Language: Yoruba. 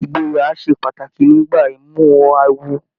Ìgboyà ṣe pàtàkì nígbà imuwọ̀ awo.